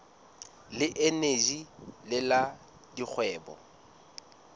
le eneji le la dikgwebo